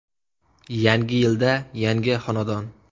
Yangi yilda yangi xonadon!